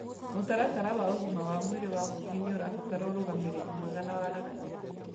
Mũtaratara wa ũgima wa mwĩrĩ wa mũingĩ nĩũrabatara ũrũgamĩrĩri mwega na waragania